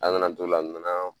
An nan'an to la, a nana.